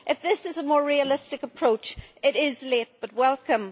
If this is a more realistic approach, it is late but welcome.